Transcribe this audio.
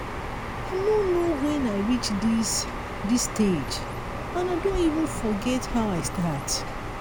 i no know wen i reach dis dis stage and i don even forget how i start